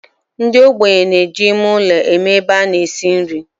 Ndi ogbenye na-eji ime ulo eme ebe a na-esi nri.